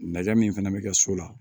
Na min fɛnɛ bɛ kɛ so la